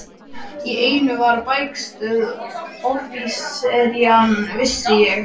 Í einu var bækistöð offíseranna, vissi ég.